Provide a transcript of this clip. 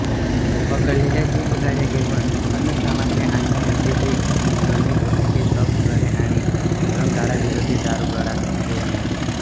पकडलेल्या जीपगाड्या घेउन अन्नसामग्री आणण्याऐवजी ही दोन्ही पथके तोफगोळे आणि रणगाडाविरोधी दारुगोळाच घेउन आली